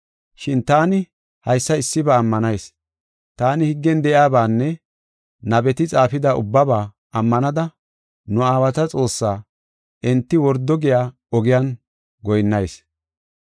“Shin taani haysa issiba ammanayis; taani higgen de7iyabaanne nabeti xaafida ubbaba ammanada, nu aawata Xoossaa, enti wordo giya ogiyan goyinnayis.